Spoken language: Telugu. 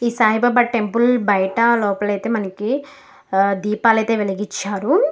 ఈ సాయిబాబా టెంపుల్ బయట లోపల అయితే మనకి దీపాలైతే వెలిగించారు.